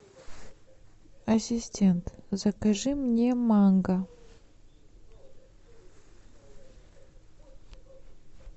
ассистент закажи мне манго